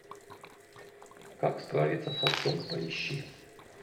как справиться с отцом поищи